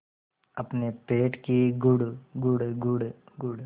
अपने पेट की गुड़गुड़ गुड़गुड़